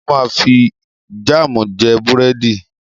Mo máa fi jáàmù jẹ búrẹ́dì.